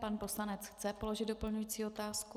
Pan poslanec chce položit doplňující otázku.